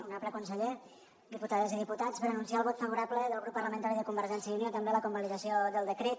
honorable conseller diputades i diputats per anunciar el vot favorable del grup parlamentari de convergència i unió també a la convalidació del decret